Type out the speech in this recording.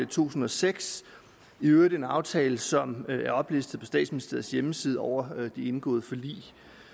tusind og seks i øvrigt en aftale som er oplistet på statsministeriets hjemmeside over indgåede forlig